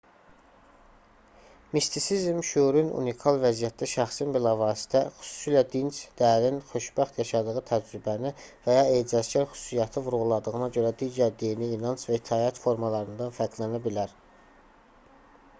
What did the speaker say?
mistisizm şüurun unikal vəziyyətdə şəxsin bilavasitə xüsusilə dinc dərin xoşbəxt yaşadığı təcrübəni və ya ecazkar xüsusiyyəti vurğuladığına görə digər dini inanc və itaət formalarından fərqlənə bilər